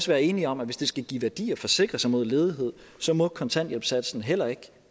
være enige om at hvis det skal give værdi at forsikre sig mod ledighed må kontanthjælpssatsen heller ikke